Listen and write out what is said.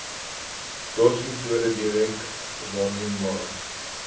dotsmetode direk waarneembare